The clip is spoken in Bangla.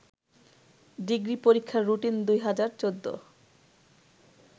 ডিগ্রী পরীক্ষার রুটিন ২০১৪